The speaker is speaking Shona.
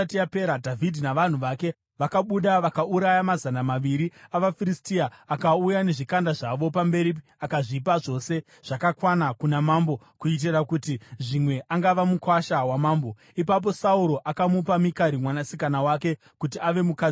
Dhavhidhi navanhu vake vakabuda vakauraya mazana maviri avaFiristia. Akauya nezvikanda zvavo zvapamberi akazvipa zvose zvakakwana kuna mambo kuitira kuti zvimwe angava mukuwasha wamambo. Ipapo Sauro akamupa Mikari mwanasikana wake kuti ave mukadzi wake.